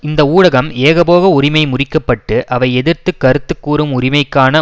இந்த ஊடகம் ஏகபோக உரிமை முறிக்கப்பட்டு அவை எதிர்த்து கருத்து கூறும் உரிமைக்கான